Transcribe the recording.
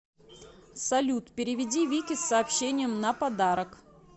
салют переведи вике с сообщением на подарок